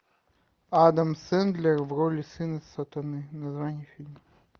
адам сэндлер в роли сына сатаны название фильма